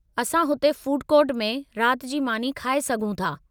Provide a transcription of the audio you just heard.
असां हुते food court में रात जी मानी खाए सघूं था।